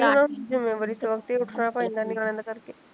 ਚਲੋ ਜਿੱਮੇਵਾਰੀ ਤੋਂ ਆਪੇ ਉਠਨਾਂ ਪੈਂਦਾ ਨਿਆਣੇ ਦਾ ਕਰਕੇ